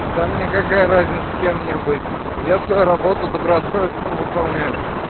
да мне какая разница с кем мне быть я свою работу добросовестно выполняю